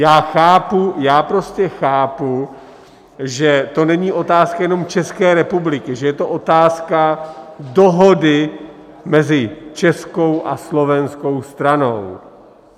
Já chápu, já prostě chápu, že to není otázka jenom České republiky, že je to otázka dohody mezi českou a slovenskou stranou.